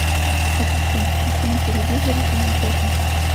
ассистент включи на телевизоре канал пятница